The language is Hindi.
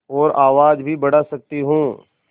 और आवाज़ भी बढ़ा सकती हूँ